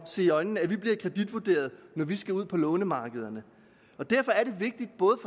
at se i øjnene at vi bliver kreditvurderet når vi skal ud på lånemarkederne derfor er det vigtigt både